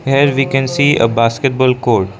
here we can see a basketball court.